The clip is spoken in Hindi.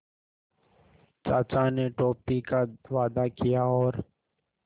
चाचा ने टॉफ़ी का वादा किया और